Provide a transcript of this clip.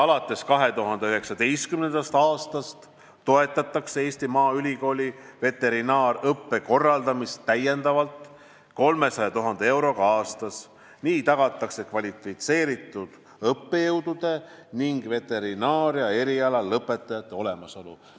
Alates 2019. aastast toetatakse Eesti Maaülikooli veterinaariaõppe korraldamist täiendavalt 300 000 euroga aastas, nii tagatakse kvalifitseeritud õppejõudude ning veterinaaria eriala lõpetajate olemasolu.